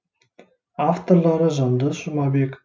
авторлары жандос жұмабек